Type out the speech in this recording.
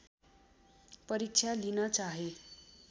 परीक्षा लिन चाहे